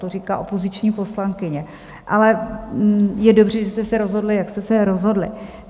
To říká opoziční poslankyně, ale je dobře, že jste se rozhodli, jak jste se rozhodli.